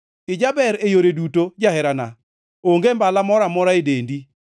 Ijaber e yore duto, jaherana; onge mbala moro amora e dendi.